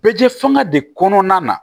Bɛ fanga de kɔnɔna na